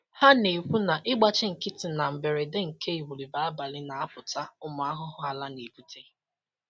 Ha na-ekwu na ịgbachi nkịtị na mberede nke igwulube abalị na-apụta ụmụ ahụhụ ala na-ebute